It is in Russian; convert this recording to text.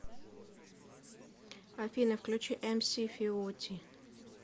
афина включи эмси фиоти